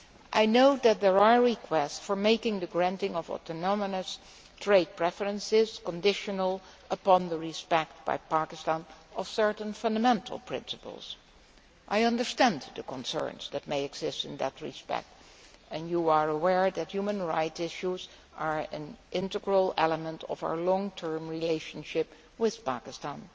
I know that there are requests for making the granting of autonomous trade preferences conditional upon Pakistan respecting certain fundamental principles. I understand the concerns that may exist in that respect, and you are aware that human rights issues are an integral element of our long term relationship with Pakistan.